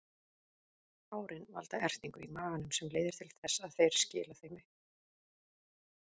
Hárin valda ertingu í maganum sem leiðir til þess að þeir skila þeim upp.